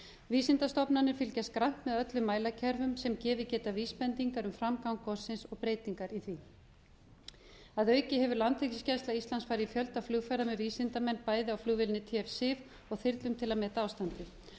vísindastofnanir fylgjast grannt með öllum mælakerfum sem gefið geta vísbendingar um framgang gossins og breytingar í því að auki hefur landhelgisgæsla íslands farið í fjölda flugferða með vísindamenn bæði á flugvélinni tf sif og þyrlum til að meta ástandið